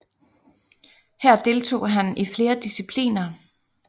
Her deltog han i flere discipliner